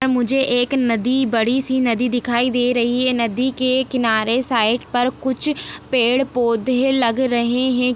मुझे एक नदी बड़ी सी नदी दिखाई दे रही है नदी के किनारे साइड पर कुछ पेड़-पौधे लग रहे है।